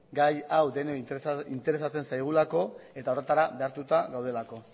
gai hau denei interesatzen zaigulako eta horretara behartuta gaudelako